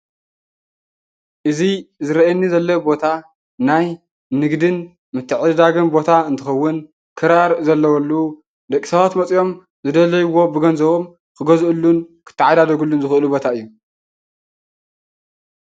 እዚ ዝረአየኒ ዘሎ ቦታ ናይ ንግድን ምትዕድዳግን ቦታ እንትኸውን ክራር ዘለዎሉ ደቂ ሰባት መፂኦም ዝደለይዎ ብገንዘቦም ክገዝኡሉን ክተዓዳደግሉ ዝኽእሉ ቦታ እዩ፡፡